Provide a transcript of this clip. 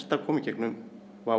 að koma í gegnum